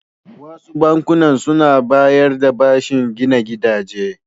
Wasu bankunan su na bayar da bashin gina gidaje.